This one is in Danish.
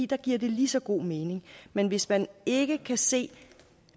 der giver det lige så god mening men hvis man ikke kan se